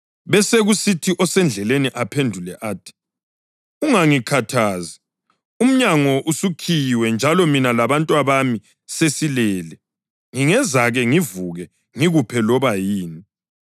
Besekusithi osendlini aphendule athi, ‘Ungangikhathazi. Umnyango usukhiyiwe njalo mina labantwabami sesilele. Ngingezake ngivuke ngikuphe loba yini.’